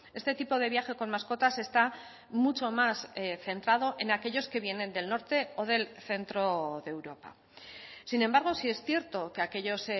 este tipo de viaje con mascotas está mucho más centrado en aquellos que vienen del norte o del centro de europa sin embargo sí es cierto que aquellos